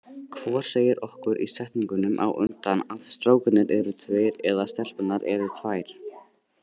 Hvor segir okkur í setningunum á undan að strákarnir eru tveir og stelpurnar eru tvær.